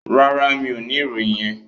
No, I don't have that information.